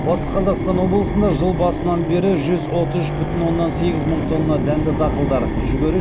батыс қазақстан облысында жыл басынан бері жүз отыз үш бүтін оннан сегіз мың тонна дәнді дақылдар жүгері